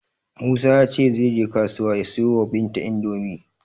Musa ya ce zai je kasuwa ya siyo wa Binta Indomi.